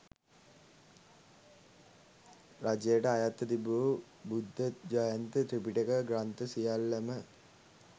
රජයට අයත්ව තිබූ බුද්ධ ජයන්ති ත්‍රිපිටක ග්‍රන්ථ සියල්ලම,